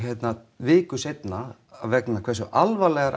viku seinna vegna þess hve alvarlegar